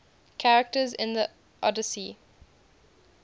characters in the odyssey